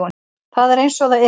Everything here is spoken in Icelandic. Það er eins og það er